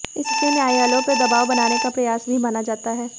इसे न्यायालयों पर दवाब बनाने का प्रयास भी माना जाता है